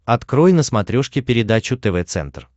открой на смотрешке передачу тв центр